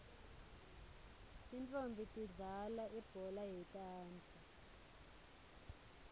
tintfonmbi tidlalal ibhola yetandla